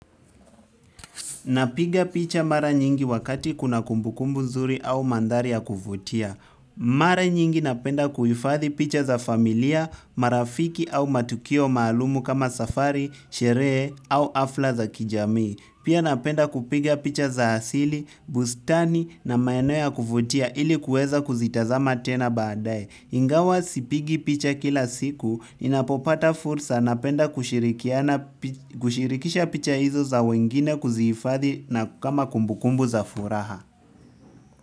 Napiga picha mara nyingi wakati kuna kumbukumbu nzuri au mandhari ya kuvutia. Mara nyingi napenda kuhifadhi picha za familia, marafiki au matukio maalum kama safari, sherehe au hafla za kijamii pia napenda kupiga picha za asili, bustani na maeneo ya kuvutia ili kuweza kuzitazama tena baadae ingawa sipigi picha kila siku, ninapopata fursa napenda kushirikisha picha hizo za wengine kuzihifadhi na kama kumbukumbu za furaha.